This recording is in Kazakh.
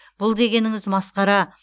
бұл дегеніңіз масқара